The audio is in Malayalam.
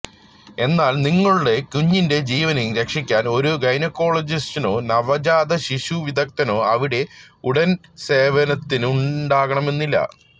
എന്നാല് നിങ്ങളുടെ കുഞ്ഞിന്റെ ജീവന് രക്ഷിക്കാന് ഒരു ഗൈനക്കോളജിസ്റ്റോ നവജാത ശിശു വിദഗ്ധനോ അവിടെ ഉടന് സേവനത്തിനു ഉണ്ടാകണമെന്നില്ല